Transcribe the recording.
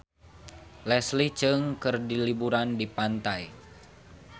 Leslie Cheung keur liburan di pantai